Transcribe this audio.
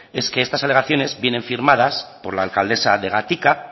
es que estas alegaciones vienen firmadas por la alcaldesa de gatika